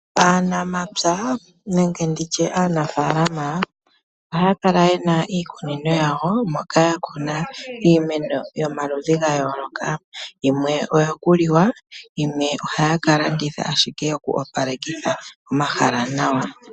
Aanamapya nenge nditye aanafaalama ohaa kala yena iikunino yawo moka yakuna iimeno yomaludhi ga yooloka. Yimwe oyo kuliwa yimwe ohaya kalanditha ashike yoku opalekitha omahala nawa.